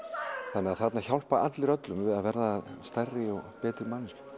þannig að þarna hjálpa allir öllumm að vera stærri og betri manneskjur